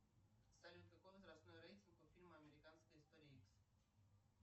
салют какой возрастной рейтинг у фильма американская история икс